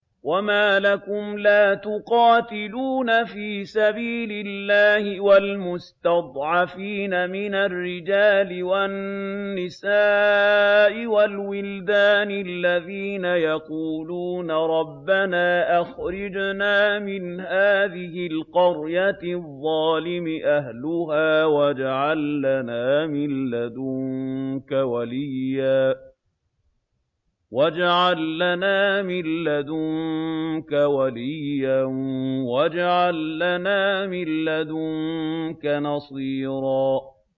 وَمَا لَكُمْ لَا تُقَاتِلُونَ فِي سَبِيلِ اللَّهِ وَالْمُسْتَضْعَفِينَ مِنَ الرِّجَالِ وَالنِّسَاءِ وَالْوِلْدَانِ الَّذِينَ يَقُولُونَ رَبَّنَا أَخْرِجْنَا مِنْ هَٰذِهِ الْقَرْيَةِ الظَّالِمِ أَهْلُهَا وَاجْعَل لَّنَا مِن لَّدُنكَ وَلِيًّا وَاجْعَل لَّنَا مِن لَّدُنكَ نَصِيرًا